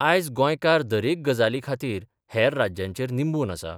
आयज गोंयकार दरेक गजाली खातीर हेर राज्यांचेर निंबून आसा.